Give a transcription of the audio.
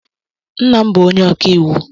Nna m bụ onye ọkàiwu.